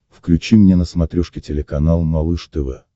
включи мне на смотрешке телеканал малыш тв